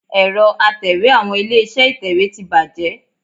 Ẹ̀rọ Atẹ̀wé àwọn ilé-iṣẹ́ ìtẹ̀wé ti bàjẹ́